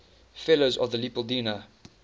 fellows of the leopoldina